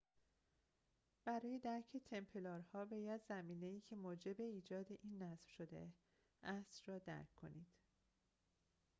برای درک تمپلارها باید زمینه ای که موجب ایجاد این نظم شده است را درک کنید